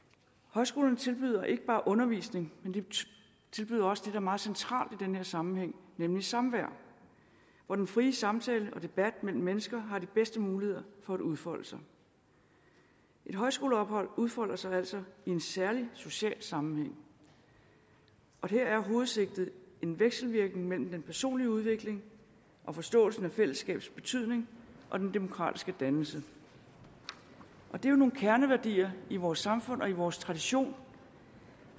højskolerne tilbyder ikke bare undervisning de tilbyder også det er meget centralt i den her sammenhæng nemlig samvær hvor den frie samtale og debat mellem mennesker har de bedste muligheder for at udfolde sig et højskoleophold udfolder sig altså i en særlig social sammenhæng og her er hovedsigtet en vekselvirkning mellem den personlige udvikling og forståelsen af fællesskabets betydning og den demokratiske dannelse det er jo nogle kerneværdier i vores samfund og i vores tradition